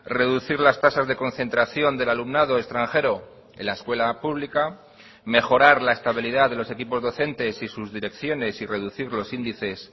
reducir las tasas de concentración del alumnado extranjero en la escuela pública mejorar la estabilidad de los equipos docentes y sus direcciones y reducir los índices